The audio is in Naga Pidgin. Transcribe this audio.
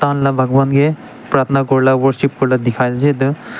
moi na bhagwan ke pratna korila worship korila dikhai se.